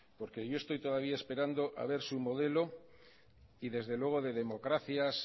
porque yo estoy todavía esperando todavía esperando a ver su modelo y desde luego de democracias